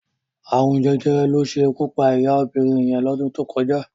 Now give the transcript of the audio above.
Arún Jẹjẹrẹ ló ṣé ikú pá iyá óbirin yẹn lọ́dún tó kọjá